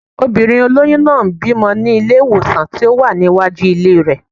Obìnrin olóyún náà ń bímọ ní ilé-ìwòsàn tó wà ní iwájú ilé rẹ̀